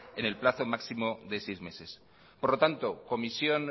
en el plazo máximo de seis meses por lo tanto comisión